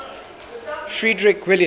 frederick william